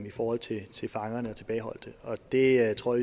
i forhold til til fangerne og tilbageholdte og det tror